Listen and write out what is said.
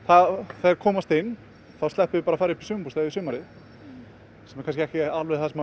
þeir komast inn þá sleppum við því bara að fara í sumarbústað yfir sumarið sem er ekki alveg það sem